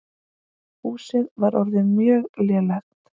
Húsið var orðið mjög lélegt.